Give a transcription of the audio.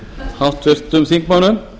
háttvirtum þingmönnum